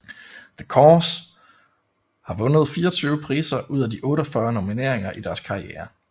The Corrs har vundet 24 priser ud af 48 nomineringer i deres karriere